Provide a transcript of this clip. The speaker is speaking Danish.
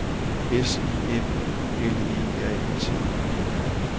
S I M U L E R E T